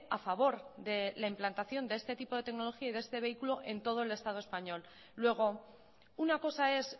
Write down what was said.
a favor de la implantación de este tipo de tecnología y de este vehículo en todo el estado español luego una cosa es